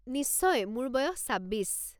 নিশ্চয়, মোৰ বয়স ছাব্বিছ।